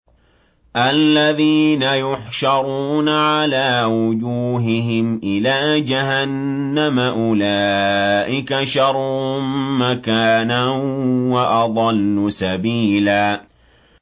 الَّذِينَ يُحْشَرُونَ عَلَىٰ وُجُوهِهِمْ إِلَىٰ جَهَنَّمَ أُولَٰئِكَ شَرٌّ مَّكَانًا وَأَضَلُّ سَبِيلًا